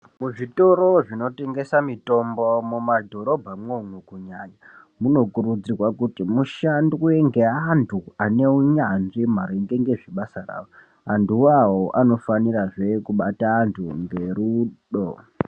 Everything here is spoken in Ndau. Muzvitoro zvinotengese mitombo mumadhorobhamwo kunyanya munokurudzirwa kuti mushandwe ngeanthu ane unyanzvi maringe ngezvebasa rao anthuwao anofanirazve kubata anthu ngerudo.